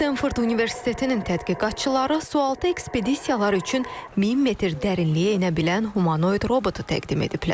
Stenford Universitetinin tədqiqatçıları sualtı ekspedisiyalar üçün 1000 metr dərinliyə enə bilən humanoid robotu təqdim ediblər.